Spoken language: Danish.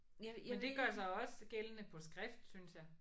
Men det gør sig også gældende på skrift synes jeg